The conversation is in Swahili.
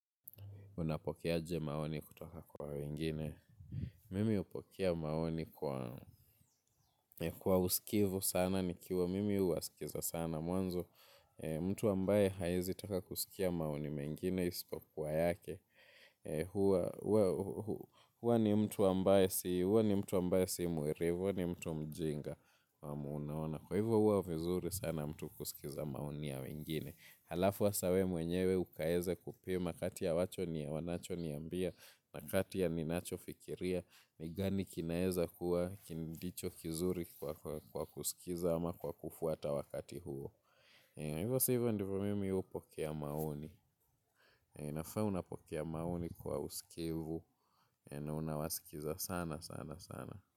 Unapokeaje maoni kutoka kwa wengine. Mimi upokea maoni kwa uskivu sana ni kiwa mimi uwasikiza sana mwanzo. Mtu ambaye haezi taka kusikia maoni mengine isipo kwa yake. Hua ni mtu ambaye si mwerevu. Hua ni mtu mjinga. Kwa munaona. Kwa hivo hua vizuri sana mtu kusikiza maoni ya wengine. Halafu hasa we mwenyewe ukaeze kupema kati ya wacho ni ya wanacho niambia na kati ya ninacho fikiria ni gani kinaeza kuwa kindicho kizuri kwa kusikiza ama kwa kufuata wakati huo. Hivyo sivyo ndivyo mimi upokea maoni. Nafaauna pokea maoni kwa uskivu na unawasikiza sana sana sana.